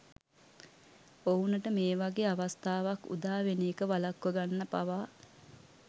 ඔවුනට මේ වගේ අවස්ථාවක් උදා වෙන එක වළක්වගන්න පවා